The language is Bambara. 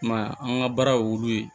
I m'a ye an ka baara y'olu ye